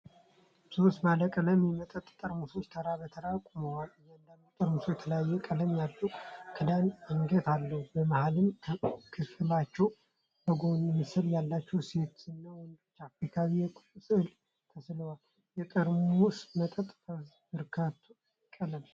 ሶስት ባለቀለም የመጠጥ ጠርሙሶች ተራ በተራ ቆመዋል። እያንዳንዱ ጠርሙስ የተለያየ ቀለም ያለው ክዳንና አንገት አለው። በመሃል ክፍላቸው የጎንዮሽ ምስል ያላቸው ሴትና ወንዶች የአፍሪካውያን የቁም ሥዕሎች ተስለዋል። የጠርሙሶቹ መጠጥ ፈዛዛ ብርቱካናማ ቀለም ነው።